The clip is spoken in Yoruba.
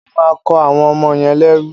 Wọ́n máa kọ́ àwọn ọmọ yẹn lẹ́rú.